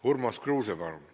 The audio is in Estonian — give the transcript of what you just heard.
Urmas Kruuse, palun!